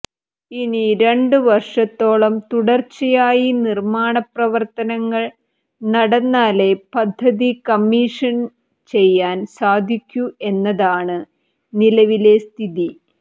ഇനി രണ്ടുവർഷത്തോളം തുടർച്ചയായി നിർമ്മാണ പ്രവർത്തനങ്ങൾ നടന്നാലെ പദ്ധതി കമ്മീഷൻ ചെയ്യാൻ സാധിക്കു എന്നതാണ് നിലവിലെ സ്ഥിതി